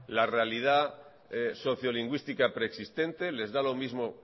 la realidad sociolingüística preexistente les da lo mismo